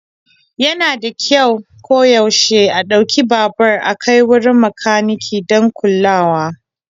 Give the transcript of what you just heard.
Yana da kyau koyaushe a ɗauki babur a kai wurin makaniki don kulawa.